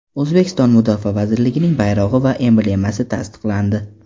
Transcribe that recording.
O‘zbekiston Mudofaa vazirligining bayrog‘i va emblemasi tasdiqlandi.